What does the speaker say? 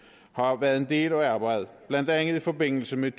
har været en del af arbejdet blandt andet i forbindelse med